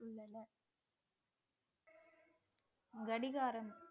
கடிகாரம்